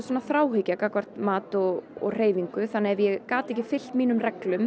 þráhyggja gagnvart mat og hreyfingu ef ég gat ekki fylgt mínum reglum